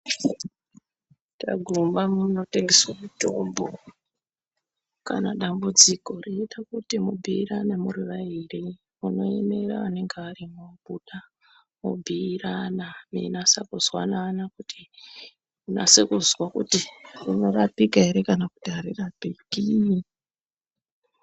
Taguma munotengeswe mutombo kana dambudziko reida kuti mubhuyirane muri vayiri munoemera anenge arimo obuda mobhuyirana mweinase kuzwanana kuti unase kuzwa kuti rinorapika ere kana kuti arirapiki.